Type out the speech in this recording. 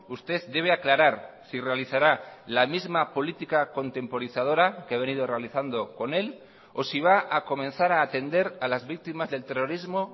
usted debe aclarar si realizará la misma política contemporizadora que ha venido realizando con él o si va a comenzar a atender a las víctimas del terrorismo